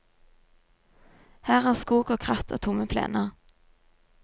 Her er skog og kratt og tomme plener.